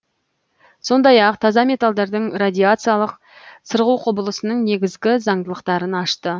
сондай ақ таза металдардың радиациялық сырғу құбылысының негізгі заңдылықтарын ашты